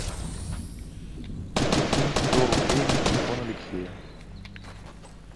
закинь сто рублей на телефон алексея